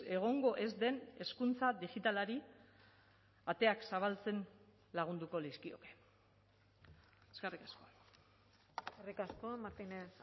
egongo ez den hezkuntza digitalari ateak zabaltzen lagunduko lizkioke eskerrik asko eskerrik asko martinez